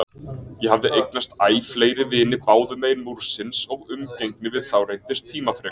Ég hafði eignast æ fleiri vini báðumegin Múrsins og umgengni við þá reyndist tímafrek.